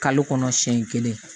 Kalo kɔnɔ siɲɛ kelen